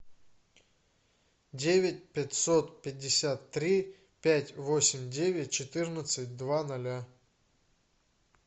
девять пятьсот пятьдесят три пять восемь девять четырнадцать два ноля